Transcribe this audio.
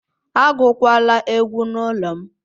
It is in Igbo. Agụkwala egwu n'ụlọ m